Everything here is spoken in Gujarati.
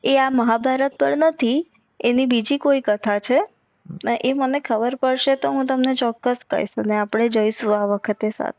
એ આ મહાભારત પર નથી આની બીજી કોઈ કથા છે એ મને ખબર પડસે તો હું તમને ચોક્કસ કાઇસ ને અપડે આ વખતે